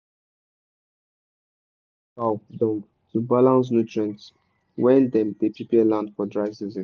some farms dey mix chicken poo with cow dung to balance nutrient when dem dey prepare land for dry season.